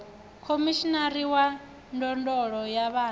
khomishinari wa ndondolo ya vhana